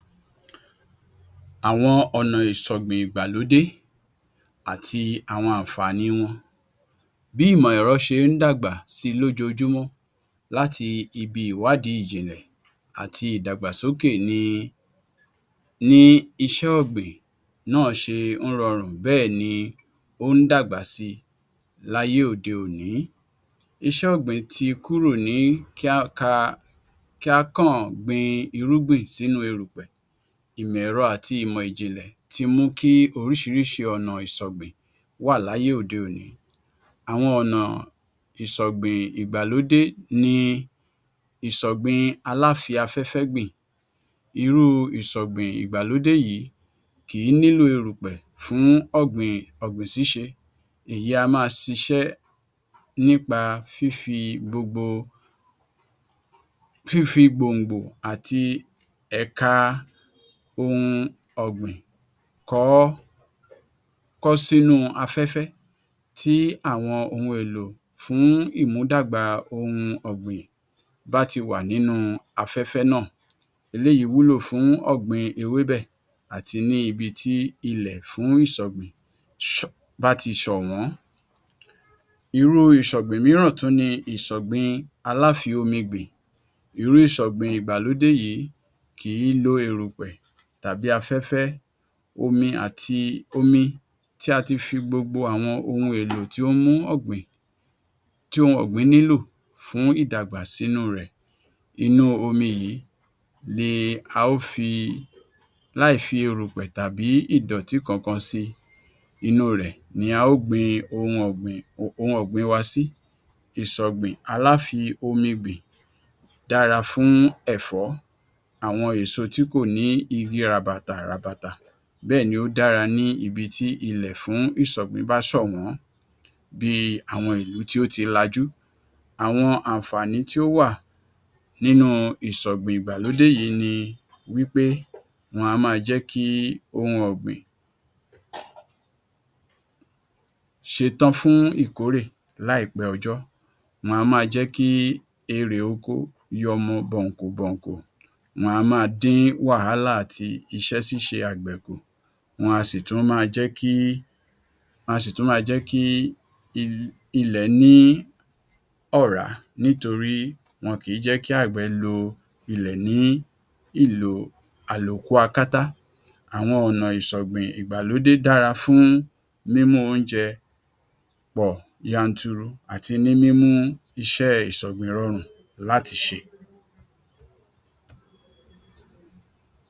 Àwọn ọ̀nà ìṣọ̀gbìn ìgbàlódé àti àwọn àǹfààní wọn. Bí ìmọ̀ ẹ̀rọ ṣe ń dagbà sí i lójoojúmọ́ láti ibi ìwádìí ìjìnlẹ̀ àti ìdàgbàsókè ni iṣẹ́ ọ̀gbìn náà ṣe ń rọrùn bẹ́ẹ̀ ni ó ń dàgbà sí i láyé òde-òní. Iṣẹ́ ọ̀gbìn ti kúrò ní kí á kàn gbin irúgbìn sínú erùpẹ̀. Ìmọ̀ ẹ̀rọ̀ àti ìmọ̀ ìjìnlẹ̀ ti mú kí oríṣiríṣi ọ̀nà ìsọ̀gbìn wà láyé òde-òní. Àwọn ọ̀nà ìṣọ̀gbìn ìgbàlódé ni ìṣọ̀gbìn aláfi-afẹ́fẹ́-gbìn. Irú ìṣọ̀gbìn ìgbàlódé kìí nílò erùpẹ̀ fún ọ̀gbìn ṣíṣe, Èyí a máa ṣiṣẹ́ nípa fífi gbòǹgbò àti ẹ̀ka ohun ọ̀gbìn kọ́ sínú afẹ́fẹ́, tih àwọn ohun èlò fún ìmúdàgbà ohun ọ̀gbìn bá ti wà nínú afẹ́fẹ́ náà. Eléyìí wúlò fún ọ̀gbìn ewébè àti ní ibi tih ilẹ̀ fún ìsọ̀gbìn bá ti ṣọ̀wọ́n. Irú ìṣọ̀gbìn mìíràn ni ìṣọ̀gbìn aláfi-omi-gbìn. Irú ìṣọ̀gbìn ìgbàlódé yìí kìí lo erùpẹ̀ tàbí afẹ́fẹ́. Omi tí o ti fi gbogbo ohun èlò tí ó ń mú ọ̀gbìn nílò fún ìdàgbà sínú rẹ̀. Inú omi yìí ni a ó fi láìfi ìdọ̀tí kankan tàí erùpẹ̀ inú rẹ̀ a ó gbin ohun ọ̀gbìn wa sí. Ìṣọ̀gbìn aláfomi-gbìn dára fún ẹ̀fọ́, àwọn ẹ̀so tí kò ní igi ràbàtà ràbàtà. Bẹ́ẹ̀ ni ó dára ní ibi tih ibi tí ilẹ̀ fún ìṣọ̀gbìn bá ṣọ̀wọ́n, bí i àwọn ìlú tó ti lajú. Àwọn àǹfààní tí ó wà nínú ìsọ̀gbìn ìgbàlódé yìí ni wí pé wọn a máa jẹ́ kí ohun ọ̀gbìn ṣetán fún ìkórè láìpẹ́ ọjọ́. Wọn a máa jẹ́ kí erè oko yọmọ bọ̀nkùbọ̀ǹkù. Wọn a máa dín wàhálà àti isẹ́ ṣíṣe àgbẹ̀ kù. Wọñ a sì tún máa jẹ́ kí ìlẹ̀ ní ọ̀rá nítorí wọn kìí jẹ́ kí àgbẹ̀ lo ilẹ̀ ní ìlò àlòkú akátá. Àwọn ọ̀nà ìsọ̀gbìn ìgbàlódé dára fún mímú oúnjẹ pọ̀ yanturu àti ní mímú iṣẹ́ ìsọ̀gbìn rọrùn láti ṣe.